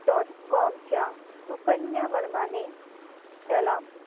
dot com च्या सुकन्या वर्माने त्याला